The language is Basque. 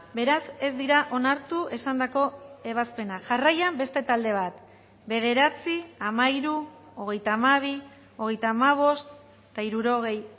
beraz ez dira onartu esandako ebazpenak jarraian beste talde bat bederatzi hamairu hogeita hamabi hogeita hamabost eta hirurogei